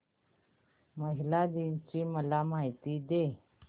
महिला दिन ची मला माहिती दे